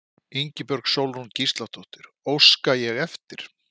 Ingibjörg Sólrún Gísladóttir: Óska ég eftir?